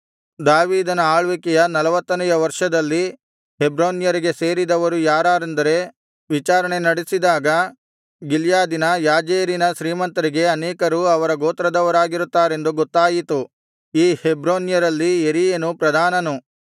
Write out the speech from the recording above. ದಾವೀದನ ಆಳ್ವಿಕೆಯ ನಲವತ್ತನೆಯ ವರ್ಷದಲ್ಲಿ ಹೆಬ್ರೋನ್ಯರಿಗೆ ಸೇರಿದವರು ಯಾರಾರೆಂದು ವಿಚಾರಣೆ ನಡೆಸಿದಾಗ ಗಿಲ್ಯಾದಿನ ಯಾಜೇರಿನ ಶ್ರೀಮಂತರಿಗೆ ಅನೇಕರು ಅವರ ಗೋತ್ರದವರಾಗಿರುತ್ತಾರೆಂದು ಗೊತ್ತಾಯಿತು ಈ ಹೆಬ್ರೋನ್ಯರಲ್ಲಿ ಯೆರೀಯನು ಪ್ರಧಾನನು